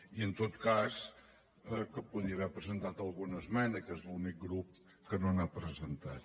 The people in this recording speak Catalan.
i en tot cas que hi podria haver presentat alguna esmena que és l’únic grup que no n’ha presentat